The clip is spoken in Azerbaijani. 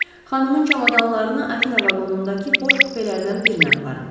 Xanımın çamadanlarını Afina vaqonundakı boş kupelərdən birinə aparın.